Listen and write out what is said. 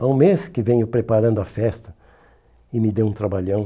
Há um mês que venho preparando a festa e me deu um trabalhão.